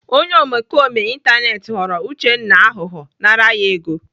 Onye omekome ịntanetị ghọrọ Uchenna aghụghọ nara ya ego.